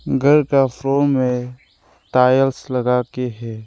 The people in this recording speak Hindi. घर का फ्लोर में टाइल्स लगा के है।